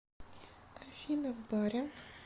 афина в баре